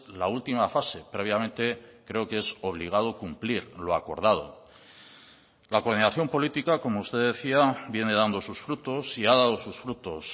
la última fase previamente creo que es obligado cumplir lo acordado la coordinación política como usted decía viene dando sus frutos y ha dado sus frutos